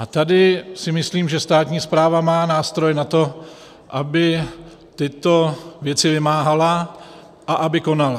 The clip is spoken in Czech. A tady si myslím, že státní správa má nástroje na to, aby tyto věci vymáhala a aby konala.